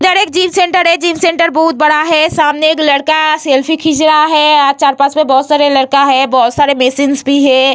इधर एक gym centre है। जिम सेंटर बहुत बड़ा है। सामने एक लड़का सेल्फी खींच रहा है। चार-पांच में बोहोत सारे लड़का है बोहोत सारे मेसिंस है।